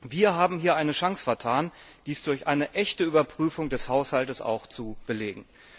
Wir haben hier eine Chance vertan, dies durch eine echte Überprüfung des Haushaltes auch zu belegen.